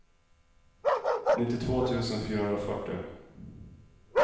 nittiotvå tusen fyrahundrafyrtio